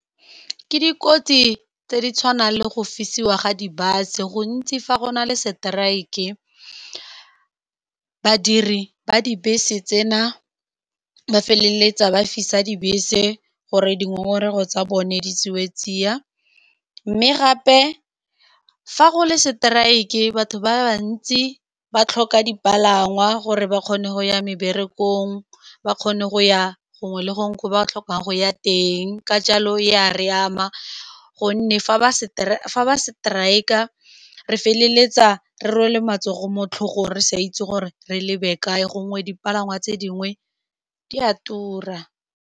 Ke dikotsi tse di tshwanang le go fisiwa ga di-bus-e. Gantsi fa go na le strike, badiri ba dibese tseno ba feleletsa ba fisa dibese gore dingongorego tsa bone di tseiwa tsia. Mme gape, fa go le seteraeke, batho ba bantsi ba tlhoka dipalangwa gore ba kgone go ya meberekong, ba kgone go ya gongwe le gongwe ko ba tlhokang go ya teng. Ka jalo, ya re ama ka gonne fa ba seteraeka re feleletsa re rwele matsogo mo tlhogong, re sa itse gore re lebe kae, gongwe dipalangwa tse dingwe di a tura.